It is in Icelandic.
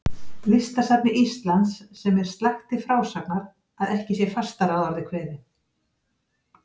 Listasafni Íslands, sem er slakt til frásagnar, að ekki sé fastar að orði kveðið.